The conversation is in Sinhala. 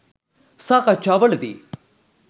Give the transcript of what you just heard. සාකච්ඡා වලදී